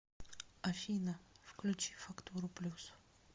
афина включи фактуру плюс